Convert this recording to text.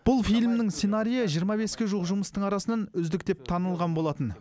бұл фильмнің сценариі жиырма беске жуық жұмыстың арасынан үздік деп танылған болатын